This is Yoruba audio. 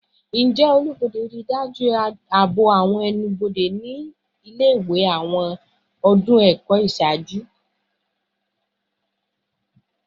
Njẹ ẹnu-bode rii daju aabo awọn ẹnu-bode ile-iwe ni awọn ọdun ẹkọ iṣaaju?